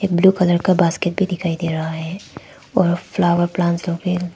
blue colour का basket भी दिखाई दे रहा है और फ्लावर प्लांट्स लोग भी--